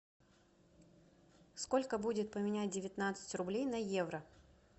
сколько будет поменять девятнадцать рублей на евро